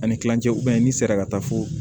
Ani kilancɛ n'i sera ka taa fo